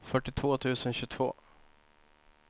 fyrtiotvå tusen tjugotvå